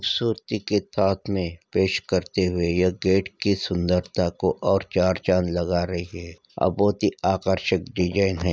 खूबसूरती के साथ में पेश करते हुए यह गेट की सुंदरता को और चार चाँद लगा रही है और बहुत ही आकर्षक डिज़ाइन है।